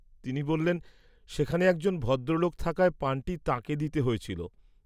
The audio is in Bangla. তিনি বল্লেন, সেখানে একজন ভদ্রলোক থাকায় পানটি তাঁকে দিতে হয়েছিল।